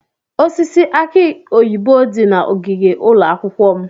Osisi aki oyibo dị na ogige ụlọ akwụkwọ m.